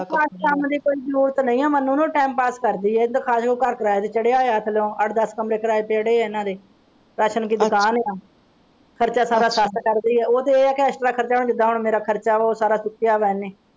ਖ਼ਾਸ ਕੰਮ ਦੀ ਕੋਈ ਜ਼ਰੂਰਤ ਨਹੀਂ ਹੈ ਮੰਨੂ ਨੂੰ time pass ਕਰਦੀ ਹੈ ਇੱਕ ਦੋ ਘਰ ਕਿਰਾਏ ਤੇ ਚੜਿਆ ਹੋਇਆ ਹੈ ਥੱਲੋਂ ਅੱਠ ਦੱਸ ਕਮਰੇ ਕਿਰਾਏ ਤੇ ਚੜ੍ਹੇ ਹੈ ਇਹਨਾਂ ਦੇ ਰਾਸ਼ਨ ਦੀ ਦੁਕਾਨ ਹੈ ਖ਼ਰਚਾ ਸਾਰਾ ਸੱਸ ਕਰਦੀ ਹੈ ਉਹ ਤੇ ਇਹ ਹੈ ਕਿ ਜਿਹੜਾ ਐਕਸਟਰਾ ਖ਼ਰਚਾ ਜਿੰਦਾਂ ਹੁਣ ਮੇਰਾ ਖ਼ਰਚਾ ਵਾ ਉਹ ਸਾਰਾ ਚੁੱਕਿਆ ਹੈ ਇਹਨੇ।